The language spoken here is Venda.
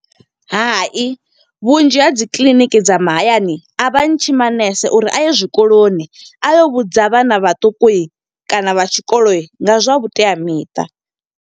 Hai, vhunzhi ha dzi kiḽiniki dza mahayani, a vha ntshi manese uri a ye zwikoloni. A yo vhudza vhana vhaṱuku, kana vha tshikoloni, nga zwa vhuteamiṱa.